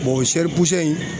o sɛri in